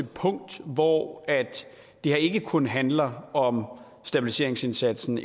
punkt hvor det her ikke kun handler om stabiliseringsindsatsen